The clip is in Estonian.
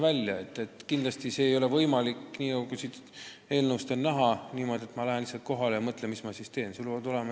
Ka eelnõust on näha, et kindlasti see ei ole võimalik niimoodi, et ma lähen lihtsalt kohale ja mõtlen, mis ma nüüd teen.